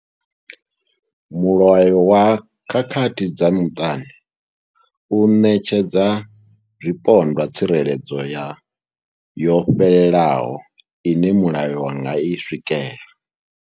Mulayo wa khakhathi dza muṱani u ṋetshedza zwipondwa tsireledzo yo fhelelaho ine mulayo wa nga i swikela.